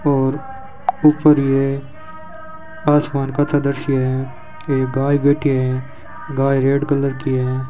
और ऊपर ये आसमान का सा दृश्य है ये गाय बैठी हैं गाय रेड कलर की है।